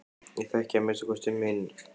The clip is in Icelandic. Ég þekki að minnsta kosti minn.